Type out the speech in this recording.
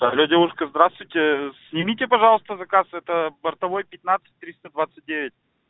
алло девушка здравствуйте снимите пожалуйста заказ это бортовой пятнадцать триста двадцать девять